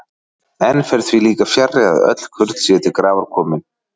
Enn fer því líka fjarri, að öll kurl séu til grafar komin.